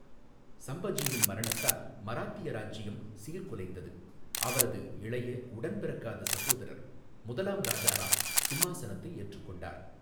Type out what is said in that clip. சம்பஜியின் மரணத்தால் மராத்திய இராஜ்ஜியம் சீர்குலைந்தது, அவரது இளைய உடன் பிறக்காத சகோதரர் முதலாம் ராஜாராம் சிம்மாசனத்தை ஏற்றுக்கொண்டார்.